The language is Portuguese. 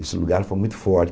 Esse lugar foi muito